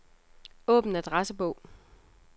Åbn adressebog.